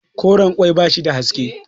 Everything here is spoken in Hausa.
koren ƙwai ba shi da haske